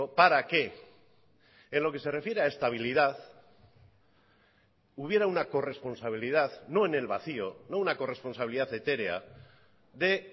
para que en lo que se refiere a estabilidad hubiera una corresponsabilidad no en el vacío no una corresponsabilidad etérea de